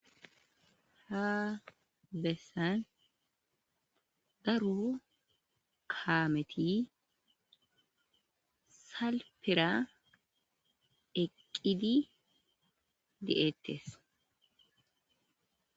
ha bessan daro kaameti salpera eqqidi de7ettes